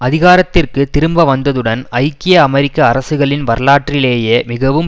அதிகாரத்திற்கு திரும்ப வந்ததுடன் ஐக்கிய அமெரிக்க அரசுகளின் வரலாற்றிலேயே மிகவும்